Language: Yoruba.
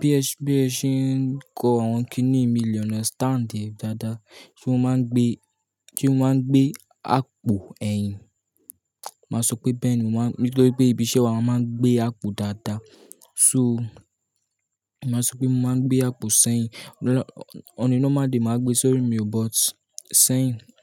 Bí ẹ ṣe ń kọ àwọn kíní yi, mi le understand ẹ dáadáa. Sé mo máa ń gbé, sé mi máa ń gbé àpò ẹyin. Màá sọ pé bẹ́ẹ̀ ni wọ́n máa ń, nítorí pé ibi iṣẹ́ wa mo máa ń gbé àpò dáadáa. So, màá sọ pé mo máa ń gbé àpò sẹ́yìn. On a normal day màá gbé sori mi, but sẹ́yìn.